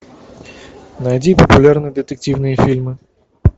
найди популярные детективные фильмы